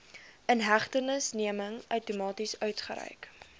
inhegtenisneming outomaties uitgereik